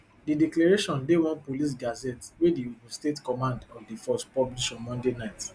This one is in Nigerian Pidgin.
di declaration dey one police gazette wey di ogun state command of di force publish on monday night